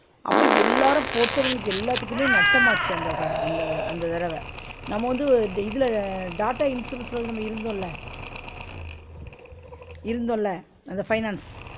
அப்ப எல்லாரும் போட்டவங்க எல்லாத்துக்குமே நட்டமாச்சு அந்த ஹ அந்த அந்த தடவ, நம்ம வந்து வ இதுல டாட்டா insurance ல வந்து நம்ம இருந்தோம்ல இருந்தோம்ல அந்த finance